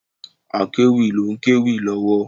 Akewi ló ń kéwì lọ́wọ́.